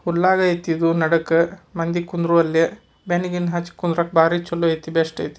ಹುಲ್ಲು ಇದೆ ಇಲ್ಲಿ ಜನರು ಕುತ್ಕೊಳೋದಿಕ್ಕೆ ತುಂಬಾ ಚೆನ್ನಾಗಿದೆ